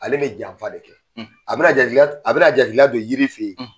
Ale bɛ janfa de kɛ. A bɛna jatigila, a bɛna jatigila don yiri fɛ yen